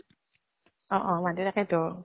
অ অ । মাতি, তাকেইতো